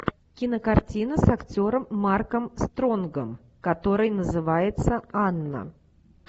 кинокартина с актером марком стронгом который называется анна